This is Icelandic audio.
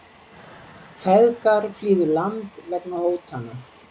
Feðgar flýðu land vegna hótana